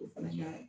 O fana ka